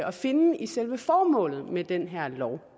at finde i selve formålet med den her lov